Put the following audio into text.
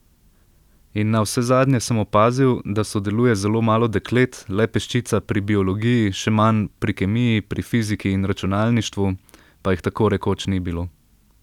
In navsezadnje sem opazil, da sodeluje zelo malo deklet, le peščica pri biologiji, še manj pri kemiji, pri fiziki in računalništvu pa jih tako rekoč ni bilo.